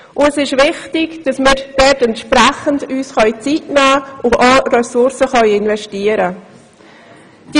Es ist wichtig, dass wir uns entsprechend Zeit nehmen und Ressourcen investieren können.